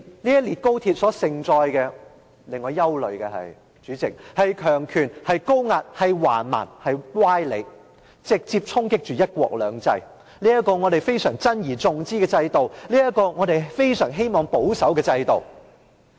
這列高鐵所盛載的，並且令我憂慮的，是強權、高壓、橫蠻及歪理，直接衝擊着"一國兩制"，這個我們珍而重之的制度、這個我們非常希望保守的制度。